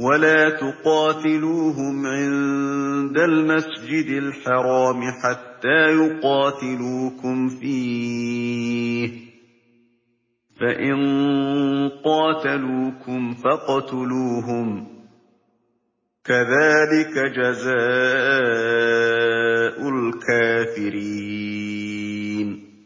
وَلَا تُقَاتِلُوهُمْ عِندَ الْمَسْجِدِ الْحَرَامِ حَتَّىٰ يُقَاتِلُوكُمْ فِيهِ ۖ فَإِن قَاتَلُوكُمْ فَاقْتُلُوهُمْ ۗ كَذَٰلِكَ جَزَاءُ الْكَافِرِينَ